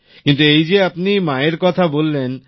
কিন্তু এই যে আপনি মায়ের কথা বললেন